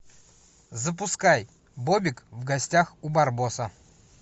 запускай бобик в гостях у барбоса